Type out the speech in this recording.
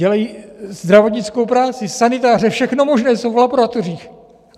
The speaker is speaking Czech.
Dělají zdravotnickou práci, sanitáře, všechno možné, jsou v laboratořích.